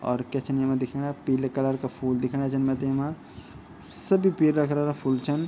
और क्या छिन येमा दिखेंणा पीले कलरा का फूल दिखेंणा छन मैते येमा सभी पीला कलरा फूल छन।